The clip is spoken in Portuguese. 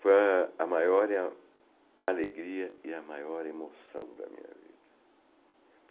Foi a a maior alegria e a maior emoção da minha vida.